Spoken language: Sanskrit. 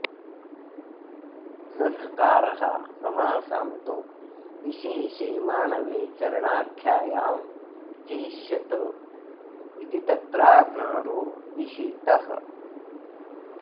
स ह्रकारः समासान्तो विशेषे माणवे चरणाख्यायां चेष्यत इति तत्राकारो विहितः